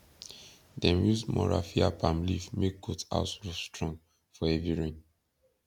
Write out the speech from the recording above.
dem use more raffia palm leaf make goat house roof strong for heavy rain